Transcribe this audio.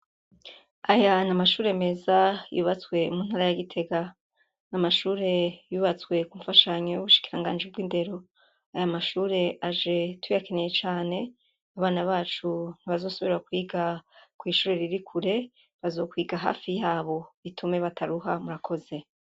Aya n'Amashure meza yubatswe mu ntara ya Gitaga. N'Amashure yubatswe kunfashanyo y'ubushikirangaji bw'indero, ay'Amashure aje tuyakeneye cane, Abana bacu ntibazosubira kwiga kw'ishure Riri Kure, bazokwiga hafi yabo bitume bataruha murakoze.